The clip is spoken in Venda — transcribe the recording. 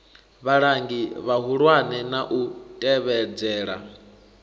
vhalangi vhahulwane na u tevhedzela